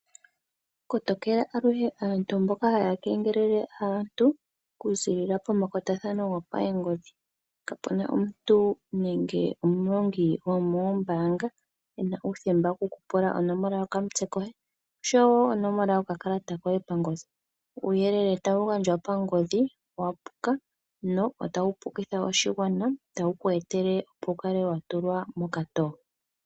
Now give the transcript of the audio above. Kotokela aluhe aantu mboka haya kengelele aantu kuziilila pomakwatathano gopangodhi. Kapuna omuniilonga gwomombaanga ena uuthemba oku kupula onomola yokamutse koye noshowo yokakalata koye pangodhi. Uuyelele tawu gandjwa pangodhi owa puka notawu pukitha oshigwana nokweetela omuntu a kale atulwa mokatoo.